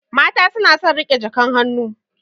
Mata suna son riƙe jakan hannu.